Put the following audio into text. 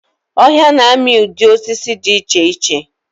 Ọhịa na-amị ụdị osisi dị iche iche.